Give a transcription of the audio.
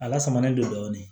A lasamalen don dɔɔnin